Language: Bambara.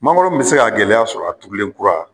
Mangoro min bɛ se ka gɛlɛya sɔrɔ a turulenkura